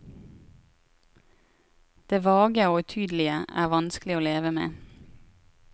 Det vage og utydelige er vanskelig å leve med.